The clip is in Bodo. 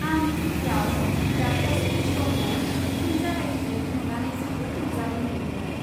आं टि.भि.आव "दा कस्बी श'"खौ फिन जागायफिननायखौ नुनानै जोबोद रंजानाय मोन्दोंमोन।